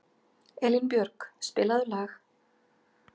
Elínbjörg, spilaðu lag.